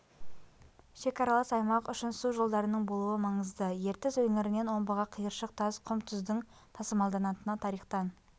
шекаралас аймақ үшін су жолдарының болуы маңызды ертіс өңірінен омбыға қиыршық тас құм тұздың тасымалданатыны тарихтан